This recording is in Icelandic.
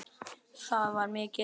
þá var mikið hlegið.